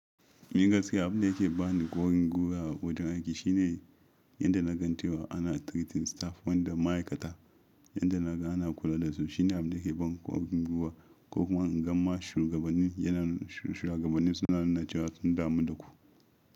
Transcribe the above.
Ni gaskiya abin da ke bani ƙwarin gwiwa a wajen aiki shine yadda na gan cewa ana treating staff wanda ma'aikata yadda na ga ana kula da su shine abin da ke ban ƙwarin gwiwa ko kuma in gama shugabanni yana shugabanni suna nuna cewa sun damu da ku.